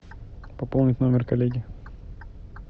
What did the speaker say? пополнить номер коллеги